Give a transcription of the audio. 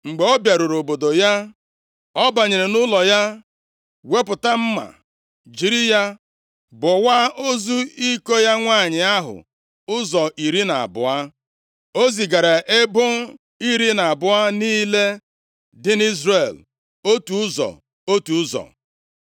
Mgbe ọ bịaruru obodo ya, ọ banyere nʼụlọ ya wepụta mma jiri ya bọwaa ozu iko ya nwanyị ahụ ụzọ iri na abụọ. O zigaara ebo iri na abụọ niile dị nʼIzrel otu ụzọ, otu ụzọ.